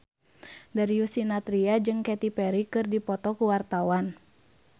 Darius Sinathrya jeung Katy Perry keur dipoto ku wartawan